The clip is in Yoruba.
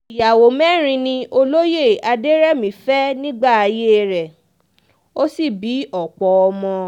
ìyàwó mẹ́rin ni olóye adẹ̀rẹ̀mí fẹ́ nígbà ayé rẹ̀ ó sì bí ọ̀pọ̀ ọmọ